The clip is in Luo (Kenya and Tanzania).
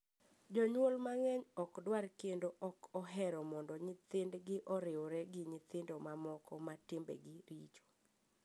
Jonyuol mang’eny ok dwar kendo ok ohero mondo nyithindgi oriwre gi nyithindo mamoko ma timbegi richo.